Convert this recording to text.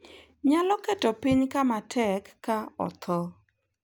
Nyalo keto piny kama tek ka otho.